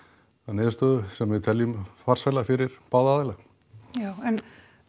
niðurstöðu sem við teljum farsæla fyrir báða aðila já en